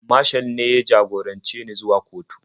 Mashal ne ya jagorance ni zuwa kotu.